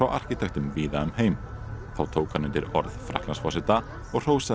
arkitektum víða um heim þá tók hann undir orð Frakklandsforseta og hrósaði